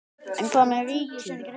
En hvað með ríkið?